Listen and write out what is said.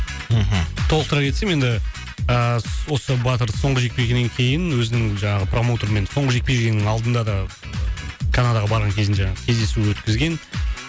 мхм толықтыра кетсем енді ыыы осы батырдың соңғы жекпе жегінен кейін өзінің жаңағы промоутерімен соңғы жекпе жегінің алдында да канадаға барған кезінде жаңағы кездесу өткізген